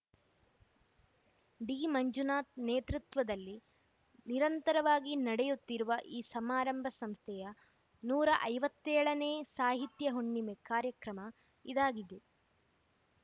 ಡಿಮಂಜುನಾಥ್‌ ನೇತೃತ್ವದಲ್ಲಿ ನಿರಂತರವಾಗಿ ನಡೆಯುತ್ತಿರುವ ಈ ಸಮಾರಂಭ ಸಂಸ್ಥೆಯ ನೂರ ಐವತ್ತ್ ಏಳನೇ ಸಾಹಿತ್ಯ ಹುಣ್ಣಿಮೆ ಕಾರ್ಯಕ್ರಮ ಇದಾಗಿದೆ